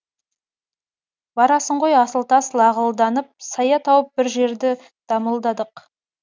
барасың ғой асыл тас лағылданып сая тауып бір жерді дамылдалық